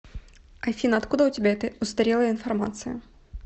афина откуда у тебя эта устарелая информация